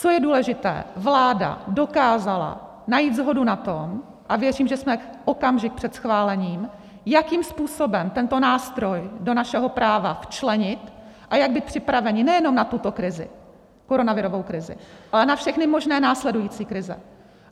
Co je důležité: vláda dokázala najít shodu na tom, a věřím, že jsme okamžik před schválením, jakým způsobem tento nástroj do našeho práva včlenit a jak být připraveni nejenom na tuto krizi, koronavirovou krizi, ale na všechny možné následující krize.